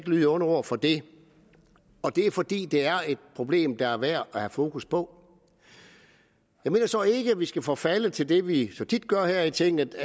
lyde onde ord for det og det er fordi det er et problem der er værd at have fokus på jeg mener så ikke at vi skal forfalde til det vi så tit gør her i tinget